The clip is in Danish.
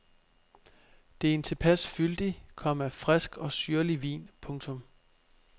Det er en tilpas fyldig, komma frisk og syrlig vin. punktum